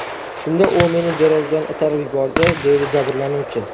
Shunda u meni derazadan itarib yubordi”, deydi jabrlanuvchi.